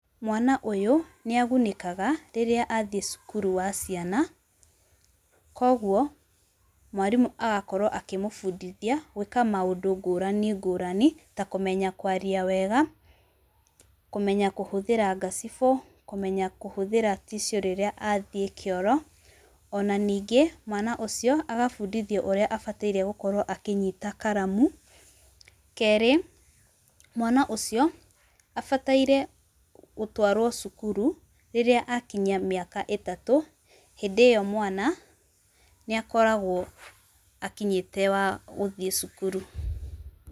Mwana ũyũ, nĩ agunĩkaga, rĩrĩa athiĩ cukuru wa ciana. Koguo, mwarimũ agakorwo akĩmũbundithia gwĩka maũndũ ngũrani ngũrani, ta kũmenya kwaria wega, kũmenya kũhũthĩra ngacibũ, kũmenya kũhũthĩra tissue rĩrĩa athiĩ kĩoro, ona ningĩ, mwana ũcio, agabundithio ũrĩa abataire gũkorwo akĩnyita karamu. Kerĩ, mwana ũcio, abataire gũtwaarwo cukuru, rĩrĩa akinyia mĩaka itatũ, hĩndĩ ĩyo mwana, nĩ akoragwo akinyĩte wa gũthiĩ cukuru.